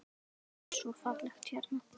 Það er svo fallegt hérna.